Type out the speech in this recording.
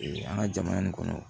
Ee an ka jamana nin kɔnɔ